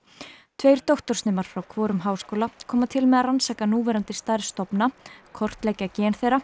tveir doktorsnemar frá hvorum háskóla koma til með að rannsaka núverandi stærð stofna kortleggja gen þeirra